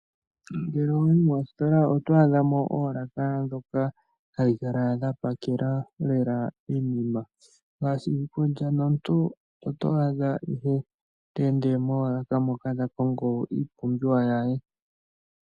Ngele wayi mositola oto adha mo oolaka dhoka hadhi kala dha pakela iinima naashika omuntu oto adha te ende moolaka moka ta kongo iipumbiwa ye.